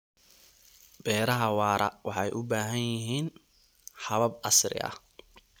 Beeraha waara waxay u baahan yihiin habab casri ah.